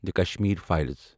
the Kashmir Files